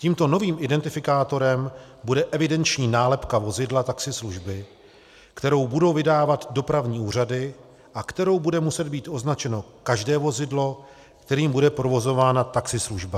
Tímto novým identifikátorem bude evidenční nálepka vozidla taxislužby, kterou budou vydávat dopravní úřady a kterou bude muset být označeno každé vozidlo, kterým bude provozována taxislužba.